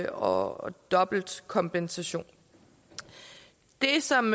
og dobbelt kompensation det som